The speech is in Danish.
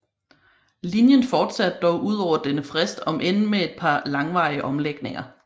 Linjen fortsatte dog udover denne frist om end med et par langvarige omlægninger